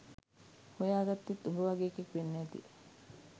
හොයාගත්තෙත් උඹ වගේ එකෙක් වෙන්න ඇති